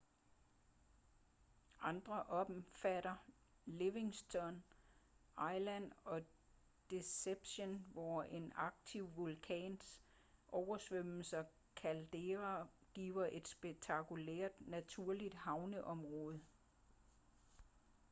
andre omfatter livingston island og deception hvor en aktiv vulkans oversvømmede caldera giver et spektakulært naturligt havneområde